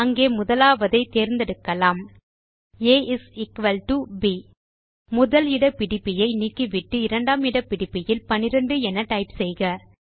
அங்கே முதலாவதை தேர்ந்தெடுக்கலாம் ஆ இஸ் எக்குவல் டோ ப் மற்றும் முதல் இட பிடிப்பியை நீக்கிவிட்டு இரண்டாம் இட பிடிப்பியில் 12 என டைப் செய்க